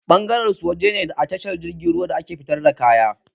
Bangaren su waje ne atsahar jirgin ruwa fitar da kaya